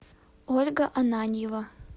ольга ананьева